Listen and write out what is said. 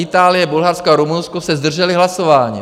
Itálie, Bulharsko a Rumunsko se zdržely hlasování.